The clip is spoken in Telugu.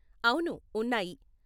అవును, ఉన్నాయి.